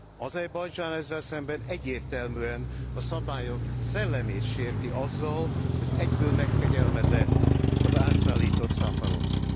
Azerbajdzsán ezzel szemben egyértelműen a szabályok szellemét sérti azzal, hogy egyből megkegyelmezett az átszállított Safarovnak.